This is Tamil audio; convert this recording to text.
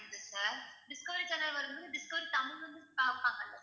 sir டிஸ்கவரி channel வரும் போது டிஸ்கவரி தமிழ் வந்து பார்ப்பாங்கல்ல